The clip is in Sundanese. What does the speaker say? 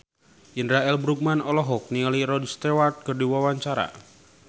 Indra L. Bruggman olohok ningali Rod Stewart keur diwawancara